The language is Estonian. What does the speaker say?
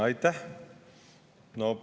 Aitäh!